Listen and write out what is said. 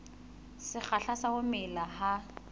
sekgahla sa ho mela ha